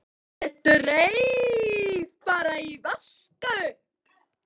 Ég dreif bara í að vaska upp.